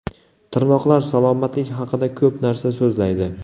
Tirnoqlar salomatlik haqida ko‘p narsa so‘zlaydi.